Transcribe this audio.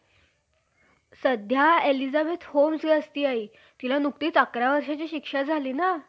कारण मनुसंहितेन लिहिलेले~ लिहिलेले आहे कि, ब्रम्ह देवाने आपल्या मुखापासून ब्रम्हणास उत्पन्न केले. आणि त्या ब्रम्हणाची फक्त सेवा- चाकरी,